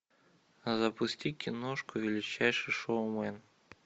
запусти киношку величайший шоумен